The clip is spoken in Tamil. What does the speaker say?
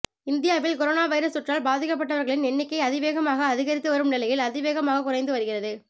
இந்தியாவில் கொரோனா வைரஸ் தொற்றால் பாதிக்கப்பட்டவர்களின் எண்ணிக்கை அதிவேகமாக அதிகரித்துவரும் நிலையில் அதிவேகமாக குறைந்துவருகிறது